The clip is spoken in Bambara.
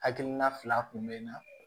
Hakilina fila kun bɛ n na